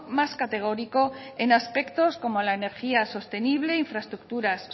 más categórico en aspectos como la energía sostenibles infraestructuras